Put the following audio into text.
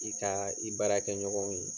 I ka i baarakɛ ɲɔgɔnw ye